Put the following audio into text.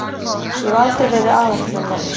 Ég hef aldrei verið aðalþjálfari.